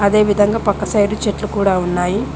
అదే విధంగా పక్క సైడ్ చెట్లు కూడా ఉన్నాయి.